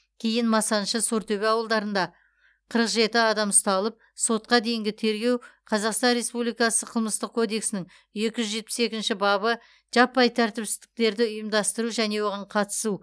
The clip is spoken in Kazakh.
кейін масаншы сортөбе ауылдарында қырық жеті адам ұсталып сотқа дейінгі тергеу қазақстан республикасы қылмыстық кодексінің екі жүз жетпіс екінші бабы жаппай тәртіпсіздіктерді ұйымдастыру және оған қатысу